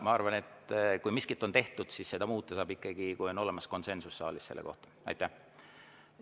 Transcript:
Ma arvan, et kui miskit on tehtud, siis seda muuta saab ikkagi juhul, kui saalis on selles asjas konsensus.